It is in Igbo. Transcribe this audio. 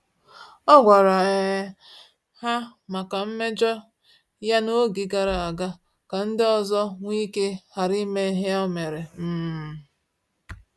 Ọ gwara um ha maka mmejọ ya na-oge gara aga ka ndị ọzọ nweike ghara ime ihe o mere um